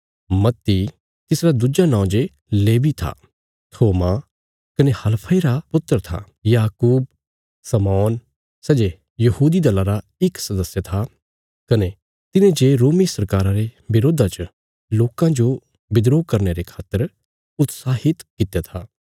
मत्ती तिसरा दुज्जा नौं जे लेवी था थोमा कने हलफई रा पुत्र था याकूब शमौन सै जे यहूदी दला रा इक सदस्य था कने तिने जे रोमी सरकारा रे बिरोधा च लोकां जो बिद्रोह करने रे खातर उत्साहित कित्या था